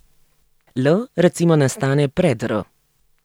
L recimo nastane pred r.